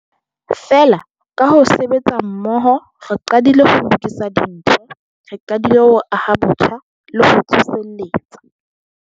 Feela, ka ho sebetsa mmoho, re qadile ho lokisa dintho. Re qadile ho aha botjha le ho tsoseletsa.